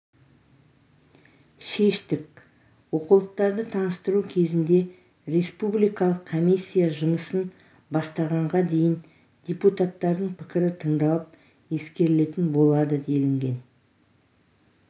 шештік оқулықтарды таныстыру кезінде республикалық комиссия жұмысын бастағанға дейін депутаттардың пікірі тыңдалып ескерілетін болады делінген